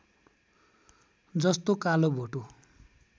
जस्तो कालो भोटो